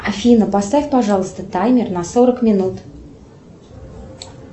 афина поставь пожалуйста таймер на сорок минут